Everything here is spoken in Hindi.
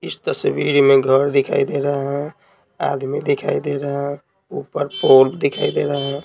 इस तस्वीर में घर दिखाई दे रहा है आदमी दिखाई दे रहा है ऊपर पोल दिखाई दे रहा है।